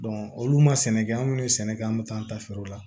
olu ma sɛnɛ kɛ an kun ye sɛnɛ kɛ an bɛ taa an ta feere la